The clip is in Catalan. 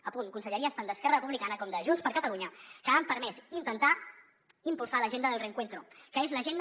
apunt conselleries tant d’esquerra republicana com de junts per catalunya que han permès intentar impulsar l’agenda del reencuentro que és l’agenda